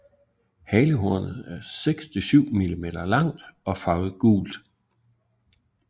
Halehornet er 6 til 7 mm langt og farvet gult